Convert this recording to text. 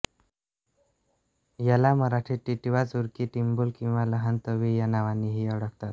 याला मराठीत टीटवा चुरकी टिंबूल किंवा लहान तवी या नावांनीही ओळखतात